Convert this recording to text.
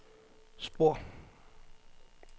spor